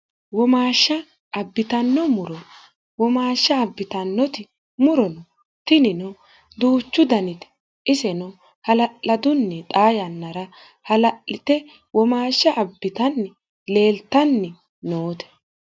womaashsha abbitanno murono womaashsha abbitannoti murono tinino duuchu danite iseno hala'ladunni xaa yannara hala'lite womaashsha abbitanni leeltanni noote